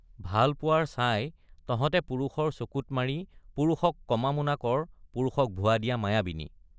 ভাল পোৱাৰ ছাই তহঁতে পুৰুষৰ চকুত মাৰি পুৰুষক কমামুনা কৰ পুৰুষক ভুৱা দিয়া মায়াবিনী।